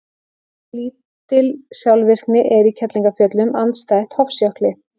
Mjög lítil skjálftavirkni er í Kerlingarfjöllum andstætt Hofsjökli.